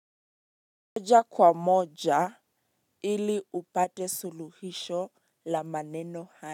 Moja kwa moja ili upate suluhisho la maneno haya.